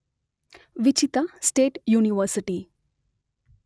ವಿಚಿತ state university